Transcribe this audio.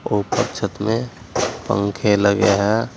ऊपर छत में पंखे लगे हैं।